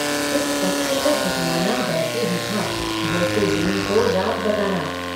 इस सत्य को झुठलाना वैसा ही था जैसे दिन को रात बताना।